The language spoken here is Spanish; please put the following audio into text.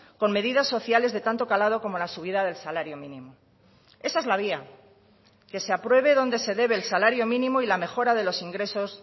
con medidas sociales de tanto calado como la subida del salario mínimo esa es la vía que se apruebe donde se debe el salario mínimo y la mejora de los ingresos